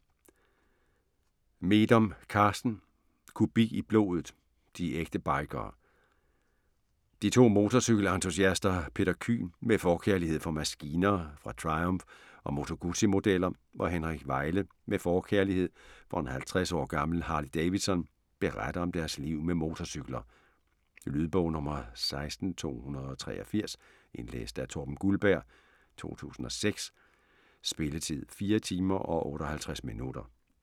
Meedom, Carsten: Kubik i blodet: de ægte bikere De to motorcykel-entusiaster, Peter Kyhn med forkærlighed for maskiner fra Triumph og Moto Guzzi-modeller og Henrik Weile med forkærlighed for en 50 år gammel Harley Davidson, beretter om deres liv med motorcykler. Lydbog 16283 Indlæst af Torben Guldberg, 2006. Spilletid: 4 timer, 58 minutter.